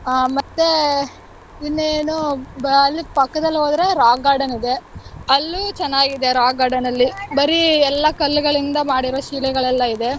ಆಹ್ ಮತ್ತೆ ಇನ್ನೇನು ಅಲ್ಲೇ ಪಕ್ಕದಲ್ಲಿ ಹೋದ್ರೆ rock garden ಇದೆ. ಅಲ್ಲೂ ಚೆನ್ನಾಗಿದೆ rock garden ಅಲ್ಲಿ ಬರೀ ಎಲ್ಲ ಕಲ್ಲುಗಳಿಂದ ಮಾಡಿರೋ ಶಿಲೆಗಳೆಲ್ಲಾ ಇದೆ.